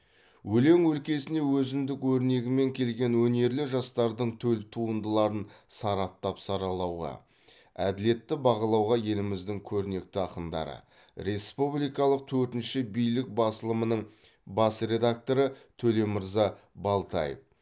өлең өлкесіне өзіндік өрнегімен келген өнерлі жастардың төл туындыларын сараптап саралауға әділетті бағалауға еліміздің көрнекті ақындары республикалық төртінші билік басылымының бас редакторы төлемырза балтаев